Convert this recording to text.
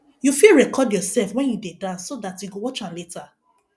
you fit record yourself when you dey dance so dat you go watch am later